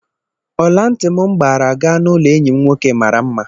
Ọlantị m gbaara gaa n'ụlọ enyi m nwoke maara mma.